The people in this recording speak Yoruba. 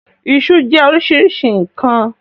Iṣu ṣe jẹ́ oríṣiríṣi nkan.